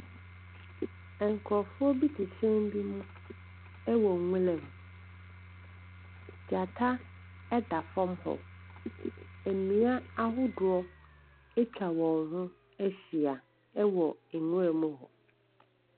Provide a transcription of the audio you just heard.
Nkurɔfoɔ bi te hyɛn bi mu wɔ nwuram. Gyata da fam hɔ. Nnua ahodoɔ atwa wɔn ho ahyia wɔ nwuram hɔ.